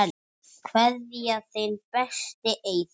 Kveðja, þinn besti, Eyþór Smári.